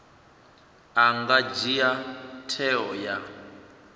a nga dzhia tsheo ya